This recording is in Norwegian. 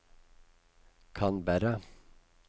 Canberra